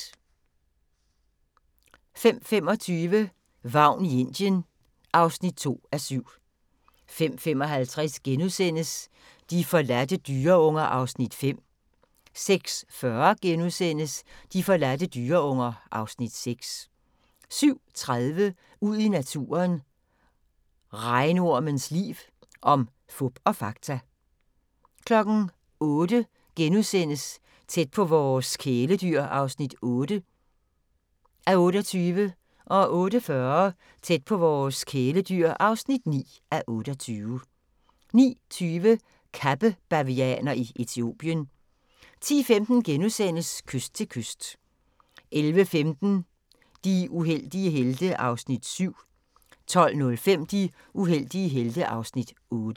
05:25: Vagn i Indien (2:7) 05:55: De forladte dyreunger (Afs. 5)* 06:40: De forladte dyreunger (Afs. 6)* 07:30: Ud i naturen: Regnormens liv – om fup og fakta 08:00: Tæt på vores kæledyr (8:28)* 08:40: Tæt på vores kæledyr (9:28) 09:20: Kappebavianer i Etiopien 10:15: Kyst til kyst * 11:15: De uheldige helte (Afs. 7) 12:05: De uheldige helte (Afs. 8)